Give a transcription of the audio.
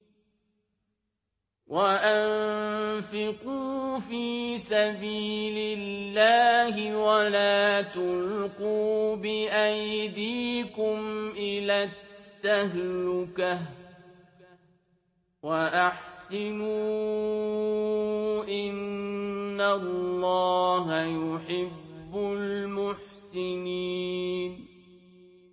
وَأَنفِقُوا فِي سَبِيلِ اللَّهِ وَلَا تُلْقُوا بِأَيْدِيكُمْ إِلَى التَّهْلُكَةِ ۛ وَأَحْسِنُوا ۛ إِنَّ اللَّهَ يُحِبُّ الْمُحْسِنِينَ